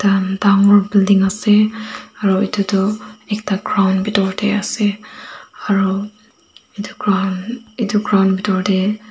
dangor building ase aro itu tu ekta ground bitor deh ase aru itu ground itu ground bitor deh.